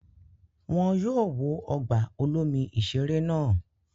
Wọn yóò wó ọgbà olomi-ìṣeré náà.